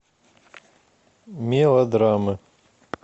мелодрамы